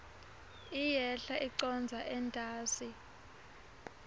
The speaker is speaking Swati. iyehla icondza entasi